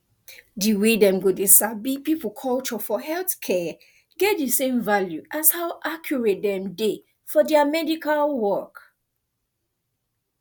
di way dem go dey sabi people culture for healthcare get di same value as how accurate dem dey for dia medical work